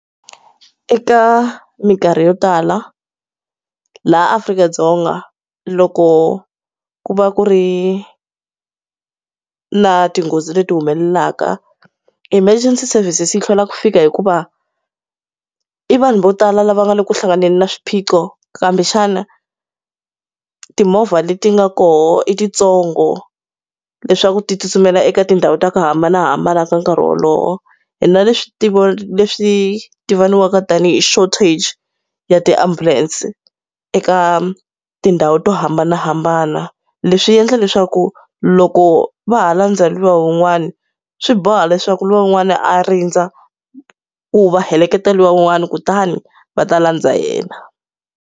Eka minkarhi yo tala, laha Afrika-Dzonga loko ku va ku ri na tinghozi leti humelelaka emergency services yi hlwela ku fika hikuva i vanhu vo tala lava nga le ku hlanganeni na swiphiqo kambe xana timovha leti nga kona i titsongo leswaku ti tsutsumela eka tindhawu ta ku hambanahambana ka nkarhi wolowo. Hi na leswi leswi ti voniwaka tanihi shortage ya tiambulense eka tindhawu to hambanahambana. Leswi endla leswaku loko va ha landzha luya un'wana swi, boha leswaku luya un'wana a rindza, ku va heleketa luya un'wani kutani va ta landza yena.